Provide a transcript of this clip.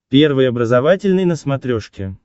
первый образовательный на смотрешке